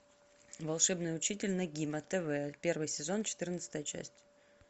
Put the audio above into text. волшебный учитель нэгима тв первый сезон четырнадцатая часть